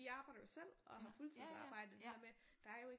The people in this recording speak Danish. De arbejder jo selv og har fuldtidsarbejde det der med der er jo ikke